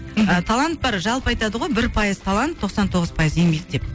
ы талант бар жалпы айтады ғой бір пайыз талант тоқсан тоғыз пайыз еңбек деп